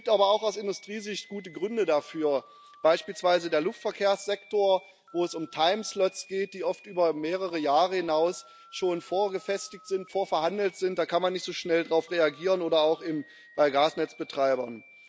Es gibt aber auch aus Industriesicht gute Gründe dafür, beispielsweise im Luftverkehrssektor, wo es um time slots geht, die oft über mehrere Jahre hinaus schon vorverhandelt sind da kann man nicht so schnell darauf reagieren oder auch bei Gasnetzbetreibern.